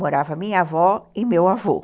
Morava minha avó e meu avô.